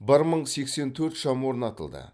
бір мың сексен төрт шам орнатылды